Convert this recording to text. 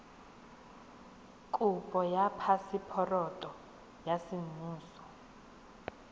kopo ya phaseporoto ya semmuso